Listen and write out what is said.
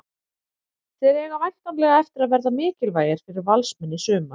Þeir eiga væntanlega eftir að verða mikilvægir fyrir Valsmenn í sumar.